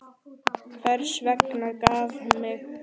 Hvers vegna gaf hún mig?